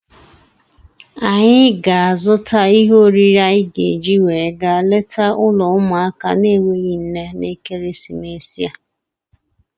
Anyị ga-azụta ihe oriri anyị ga-eji wee gaa leta ụlọ ụmụaka na-enweghị nne n'ekeresimesi a.